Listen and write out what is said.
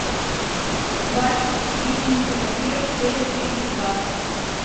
баффи истребительница вампиров серия тридцать два